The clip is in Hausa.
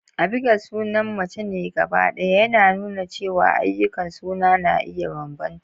Abigail sunan mace ne gabaɗaya, yana nuna cewa ayyukan suna na iya bambanta.